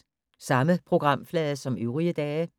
Samme programflade som øvrige dage